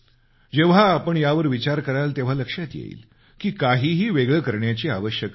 जेव्हा आपण यावर विचार कराल तेव्हा लक्षात येईल की काहीही वेगळं करण्याची आवश्यकता नाही